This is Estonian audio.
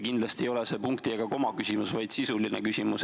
Kindlasti ei ole see punkti ega koma küsimus, vaid sisuline küsimus.